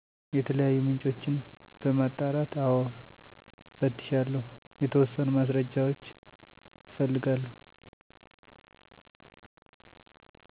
የተለያዩ ምንጮችን በማጣራት አዎ እፈትሻለሁ የተወሰኑ ማስረጃዎች እፈልጋለሁ